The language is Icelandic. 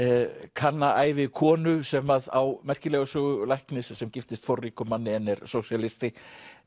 kanna ævi konu sem að á merkilega sögu læknis sem giftist forríkum manni en er sósíalisti